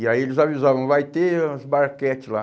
E aí eles avisavam, vai ter os barquete lá.